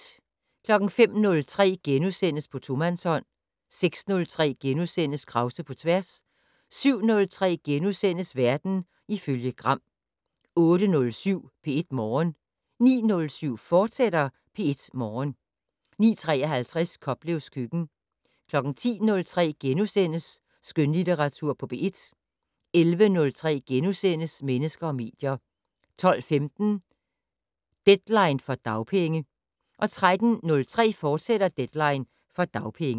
05:03: På tomandshånd * 06:03: Krause på tværs * 07:03: Verden ifølge Gram * 08:07: P1 Morgen 09:07: P1 Morgen, fortsat 09:53: Koplevs køkken 10:03: Skønlitteratur på P1 * 11:03: Mennesker og medier * 12:15: Deadline for dagpenge 13:03: Deadline for dagpenge, fortsat